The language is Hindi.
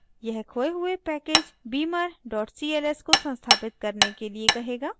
यह खोये हुए package beamer cls को संस्थापित करने के लिए कहेगा